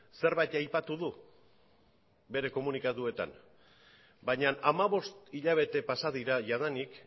zerbait aipatu du bere komunikatuetan baina hamabost hilabete pasa dira jadanik